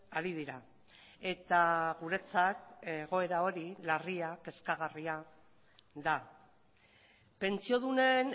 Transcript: ari dira eta guretzat egoera hori larria kezkagarria da pentsiodunen